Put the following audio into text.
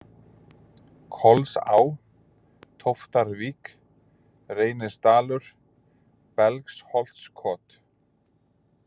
Kolsá, Tóftarvík, Reynisdalur, Belgsholtskot